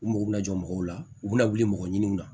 U mago bɛ jɔ mɔgɔw la u bɛna wuli mɔgɔ ɲiniw na